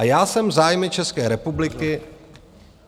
A já jsem zájmy České republiky...